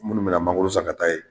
Minnu mina mangoro san ka taa ye